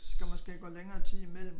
Skal måske gå længere tid imellem